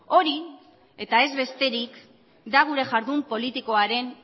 hori eta ez besterik da gure jardun politikoaren